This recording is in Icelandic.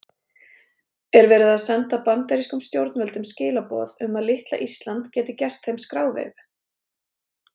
Er verið að senda bandarískum stjórnvöldum skilaboð um að litla Ísland geti gert þeim skráveifu?